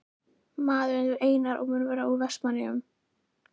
Maður er nefndur Einar og mun vera úr Vestmannaeyjum.